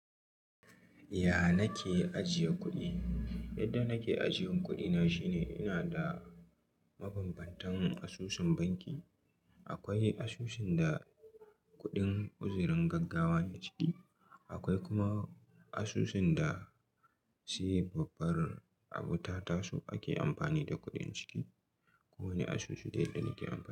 Ya na ke ajiye kuɗi? Yadda nake ajiyan kuɗi na shine ina da mabambantan asusun banki. Akwai asusun da kuɗin uzurin gaggawa ne ciki, akwai kuma asusun da sai babbar abu ta taso ake amfani da kuɗin ciki. Ko wanne asusu da yadda nake amfani.